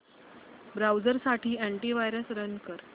browser साठी antivirus run कर